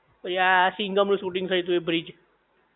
પછી આ સિંઘમ નું શૂટિંગ થયું તું એ બ્રિજ